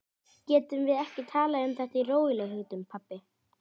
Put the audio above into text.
Getum við ekki talað um þetta í rólegheitum, pabbi?